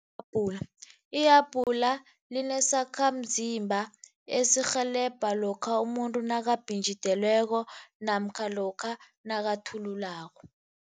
ihabhula linesakhamzimba esirhelebha lokha umuntu nakabhinjidelweko namkha lokha nakathululako.